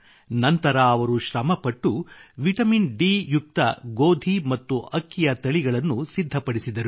ನಂತರ ಅವರು ಶ್ರಮಪಟ್ಟು ವಿಟಮಿನ್ ಡಿ ಯುಕ್ತ ಗೋಧಿ ಮತ್ತು ಅಕ್ಕಿಯ ತಳಿಗಳನ್ನು ಸಿದ್ಧಪಡಿಸಿದರು